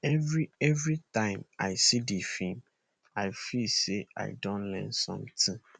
every every time i see di film i feel say i don learn something